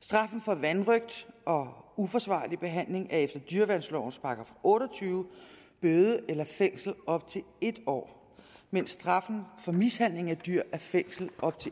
straffen for vanrøgt og uforsvarlig behandling er efter dyreværnslovens § otte og tyve bøde eller fængsel i op til en år mens straffen for mishandling af dyr er fængsel i op til